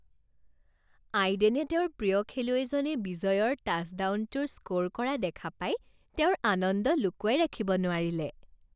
আইডেনে তেওঁৰ প্ৰিয় খেলুৱৈজনে বিজয়ৰ টাচডাউনটোৰ স্ক'ৰ কৰা দেখা পাই তেওঁৰ আনন্দ লুকুৱাই ৰাখিব নোৱাৰিলে